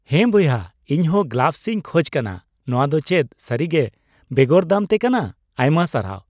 ᱦᱮᱸ ᱵᱚᱭᱦᱟ, ᱤᱧ ᱦᱚᱸ ᱜᱞᱟᱵᱷᱥᱤᱧ ᱠᱷᱚᱡ ᱠᱟᱱᱟ ᱾ ᱱᱚᱣᱟ ᱫᱚ ᱪᱮᱫ ᱥᱟᱹᱨᱤᱜᱮ ᱵᱮᱜᱚᱨ ᱫᱟᱢᱛᱮ ᱠᱟᱱᱟ ? ᱟᱭᱢᱟ ᱥᱟᱨᱦᱟᱣ !